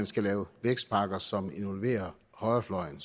skal laves vækstpakker som involverer højrefløjen